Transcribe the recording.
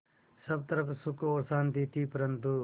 सब तरफ़ सुख और शांति थी परन्तु